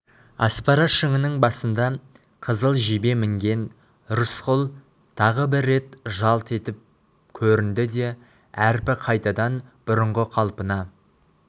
аспара шыңының басында қызыл жебе мінген рысқұл тағы бір рет жалт етіп көрінді де әрпі қайтадан бұрынғы қалпына